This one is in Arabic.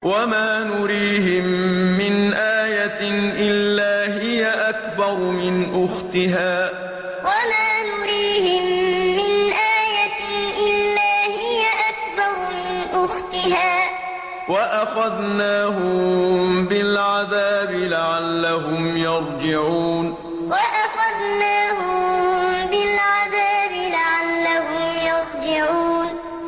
وَمَا نُرِيهِم مِّنْ آيَةٍ إِلَّا هِيَ أَكْبَرُ مِنْ أُخْتِهَا ۖ وَأَخَذْنَاهُم بِالْعَذَابِ لَعَلَّهُمْ يَرْجِعُونَ وَمَا نُرِيهِم مِّنْ آيَةٍ إِلَّا هِيَ أَكْبَرُ مِنْ أُخْتِهَا ۖ وَأَخَذْنَاهُم بِالْعَذَابِ لَعَلَّهُمْ يَرْجِعُونَ